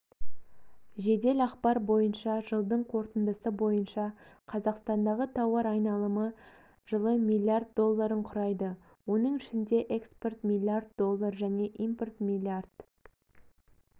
жедел ақпар бойынша жылдың қорытындысы бойынша қазақстандағы тауар айналымы жылы миллиард долларын құрайды оның ішінде экспорт миллиард доллар және импорт миллиард